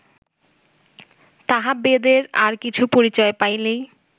তাহা বেদের আর কিছু পরিচয় পাইলেই